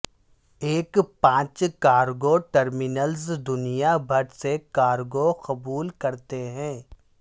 ایک پانچ cargo terminals دنیا بھر سے کارگو قبول کرتے ہیں